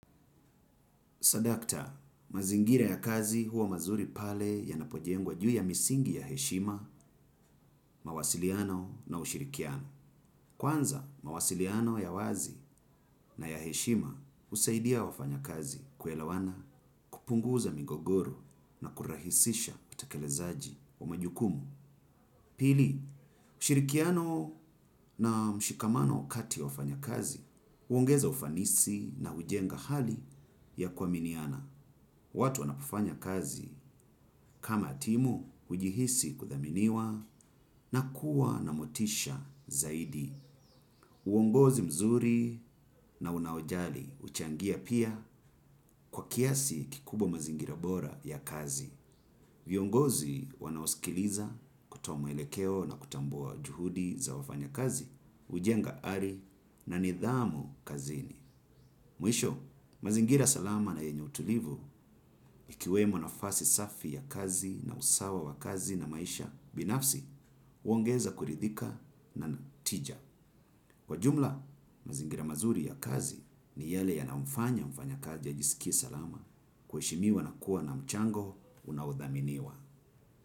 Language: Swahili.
Sadakta, mazingira ya kazi huwa mazuri pale yanapojengwa juu ya misingi ya heshima, mawasiliano na ushirikiano. Kwanza, mawasiliano ya wazi na ya heshima husaidia wafanyakazi kuelawana kupunguza mingogoro na kurahisisha utakelezaji wa majukumu. Pili, ushirikiano na mshikamano kati ya wafanyakazi, uongeza ufanisi na ujenga hali ya kuaminiana. Watu wanapofanya kazi kama timu, ujihisi kuthaminiwa na kuwa na motisha zaidi. Uongozi mzuri na unaojali uchangia pia kwa kiasi kikubwa mazingira bora ya kazi. Viongozi wanaosikiliza kutoa mwelekeo na kutambua juhudi za wafanyakazi, ujenga ari na nidhamu kazini. Mwisho, mazingira salama na yenye utulivu ikiwemo nafasi safi ya kazi na usawa wa kazi na maisha binafsi uongeza kuridhika na na tija. Kwa jumla, mazingira mazuri ya kazi ni yale yanaomfanya mfanyakazi ajisikie salama kuheshimiwa na kuwa na mchango unaudhaminiwa.